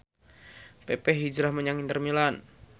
pepe hijrah menyang Inter Milan